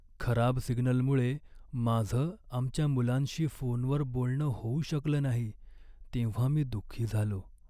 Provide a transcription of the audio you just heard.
खराब सिग्नलमुळे माझं आमच्या मुलांशी फोनवर बोलणं होऊ शकलं नाही तेव्हा मी दुःखी झालो.